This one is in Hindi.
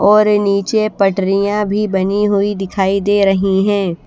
और ये नीचे पटरियां भी बनी हुई दिखाई दे रही है।